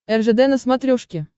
ржд на смотрешке